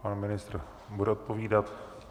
Pan ministr bude odpovídat.